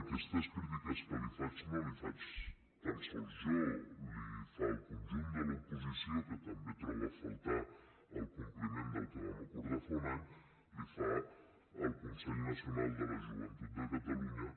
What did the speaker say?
aquestes crítiques que li faig no les hi faig tan sols jo les hi fa el conjunt de l’oposició que també troba a faltar el compliment del que vam acordar fa un any les hi fa el consell nacional de la joventut de catalunya